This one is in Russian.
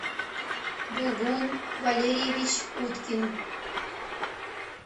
булгун валерьевич уткин